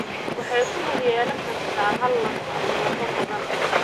Waxay ku lug yeelan kartaa hal laf (monostotic) ama lafo badan (polyostotic).